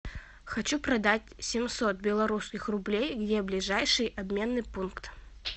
хочу продать семьсот белорусских рублей где ближайший обменный пункт